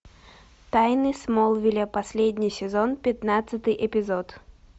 тайны смолвиля последний сезон пятнадцатый эпизод